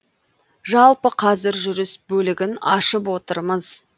жалпы қазір жүріс бөлігін ашып отырмыз